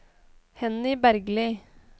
Henny Bergli